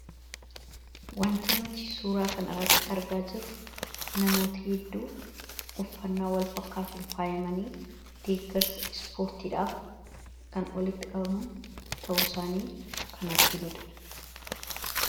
Wanta nuti suuraa kana irratti argaa jirru namoota hedduu uffannaa walfakkaatun faayamanii deeggarsa ispoortiidhaaf kan walitti qabaman ta'uu saanii kan arginuudha.